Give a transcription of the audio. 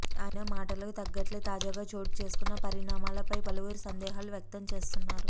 ఆయన మాటలకు తగ్గట్లే తాజాగా చోటు చేసుకున్న పరిణామల పై పలువురు సందేహాలు వ్యక్తం చేస్తున్నారు